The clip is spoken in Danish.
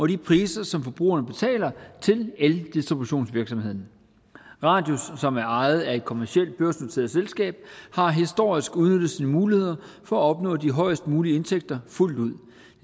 de priser som forbrugerne betaler til eldistributionsvirksomheden radius som er ejet af et kommercielt børsnoteret selskab har historisk udnyttet sine muligheder for at opnå de højest mulige indtægter fuldt ud